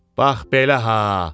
Bax belə ha.